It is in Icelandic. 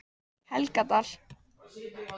Helgadal